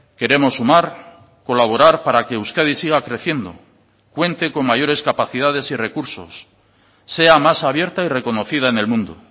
queremos sumar colaborar para que euskadi siga creciendo cuente con mayores capacidades y recursos sea más abierta y reconocida en el mundo